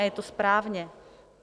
A je to správně.